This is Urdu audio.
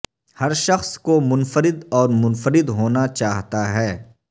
ہر شخص کو منفرد اور منفرد ہونا چاہتا ہے